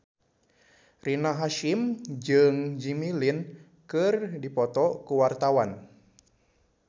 Rina Hasyim jeung Jimmy Lin keur dipoto ku wartawan